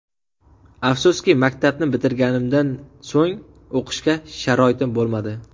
Afsuski, maktabni bitirganimdan so‘ng o‘qishga sharoitim bo‘lmadi.